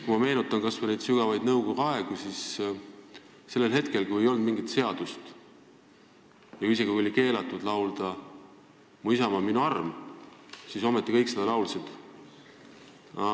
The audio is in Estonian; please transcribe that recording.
Kui ma meenutan kas või sügavat nõukogude aega, kui ei olnud mingit seadust ja kui isegi oli keelatud laulda "Mu isamaa on minu arm", siis ometi kõik seda laulsid.